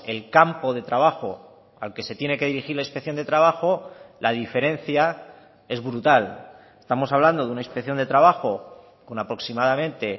el campo de trabajo al que se tiene que dirigir la inspección de trabajo la diferencia es brutal estamos hablando de una inspección de trabajo con aproximadamente